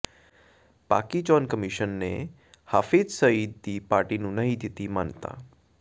ਪਾਕਿ ਚੋਣ ਕਮਿਸ਼ਨ ਨੇ ਹਾਫਿਜ਼ ਸਈਦ ਦੀ ਪਾਰਟੀ ਨੂੰ ਨਹੀਂ ਦਿੱਤੀ ਮਾਨਤਾ